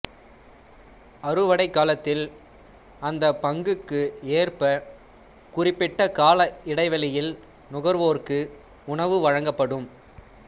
அறுவடைக் காலத்தில் அந்தப் பங்குக்கு ஏற்ப குறிப்பிட்ட கால இடைவெளியில் நுகர்வோருக்கு உணவு வழங்கப்படும்